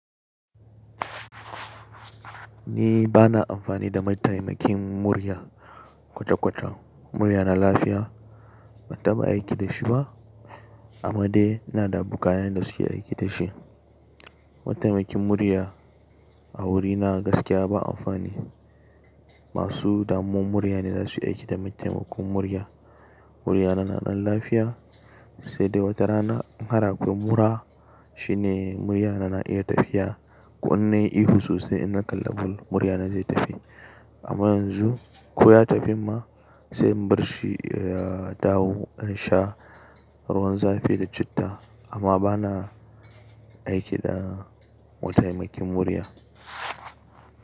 Ni bana amfani da mataimakin murya kwata kwata. Muryana lafiya ban taba aiki dashi ba amma dai ina da abokanai da suke aiki da shi. Mataimakin murya a wurina gaskiya ba amfani. Masu damuwar murya ne zasu yi aiki da mataimakon murya. Muryana na dan lafiya sai dai wata rana in har akwai mura shine muryana na iya tafiya ko in nayi ihu sosai in na kalla ball muryana zai tafi. Amma yanzu ko ya tafin ma sai in barshi ya dawo sha ruwan zafi da citta amma bana aiki da mataimakin murya.